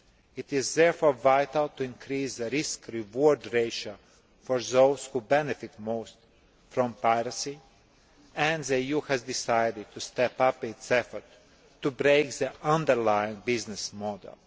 It is therefore vital to increase the risk reward' ratio for those who benefit most from piracy, and the EU has decided to step up its efforts to break the underlying business model.